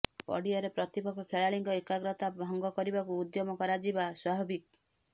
ପଡିଆରେ ପ୍ରତିପକ୍ଷ ଖେଳାଳିଙ୍କ ଏକାଗ୍ରତା ଭଙ୍ଗ କରିବାକୁ ଉଦ୍ୟମ କରାଯିବା ସ୍ୱାଭାବିକ୍